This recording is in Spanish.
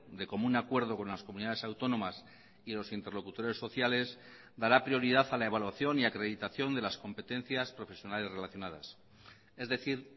de común acuerdo con las comunidades autónomas y los interlocutores sociales dará prioridad a la evaluación y acreditación de las competencias profesionales relacionadas es decir